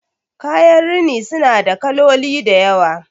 kayan rini suna da kaloli da yawa